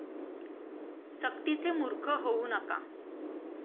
सक्तीचे मूर्ख होऊ नका.